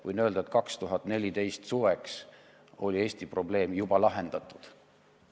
Võin öelda, et 2014. aasta suveks oli Eesti probleem juba lahendatud.